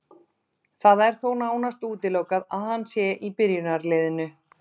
Það er þó nánast útilokað að hann sé í byrjunarliðinu.